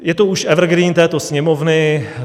Je to už evergreen této Sněmovny.